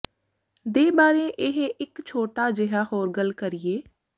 ਦੇ ਬਾਰੇ ਇਹ ਇੱਕ ਛੋਟਾ ਜਿਹਾ ਹੋਰ ਗੱਲ ਕਰੀਏ